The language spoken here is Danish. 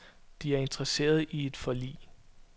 De er interesserede i et forlig.